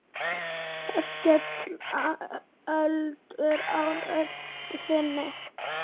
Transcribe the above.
Það skella öldur á rödd þinni.